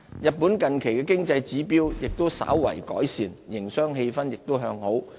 日本近期經濟指標亦稍有改善，營商氣氛亦向好。